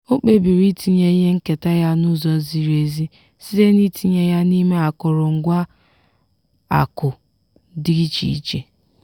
o kpebiri itinye ihe nketa ya n'ụzọ ziri ezi site n’itinye ya n’ime akụrụngwa akụ̀ dị iche iche.